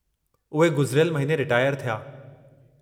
उहे गुज़िरियलु महीने रिटायर थिया।